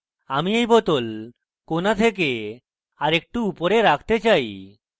আমি এই bottle corner থেকে আরেকটু উপরে রাখতে চাই